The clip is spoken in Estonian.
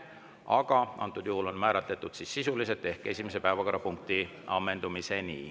Aga antud juhul on see määratletud sisuliselt ehk esimese päevakorrapunkti ammendumiseni.